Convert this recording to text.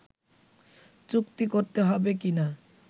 চুক্তি করতে হবে কিনা